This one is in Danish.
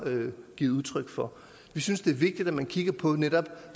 givet udtryk for vi synes det er vigtigt at man netop kigger på